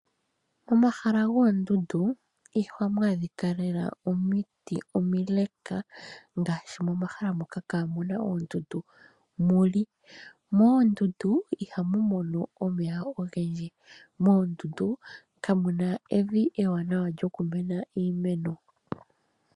Omahala goondundu, iha mu adhika lela omiti omileka, ngaashi momahala moka kaa mu na oondundu mu li. Moondundu iha mu mono omeya ogendji. Moondundu ka mu na evi ewanawa lyokumenà iimeno.